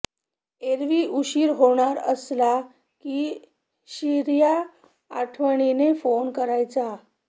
एरवी उशीर होणार असला की शिर्या आठवणीने फोन करायचा